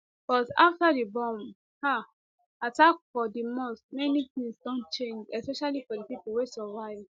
but afta di bomb um attack for di mosque many tins don change especially for di pipo wey survive